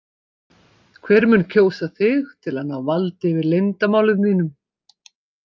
Hver mun kjósa þig til að ná valdi yfir leyndarmálum þínum?